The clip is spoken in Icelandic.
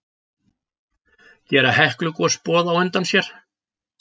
Gera Heklugos boð á undan sér?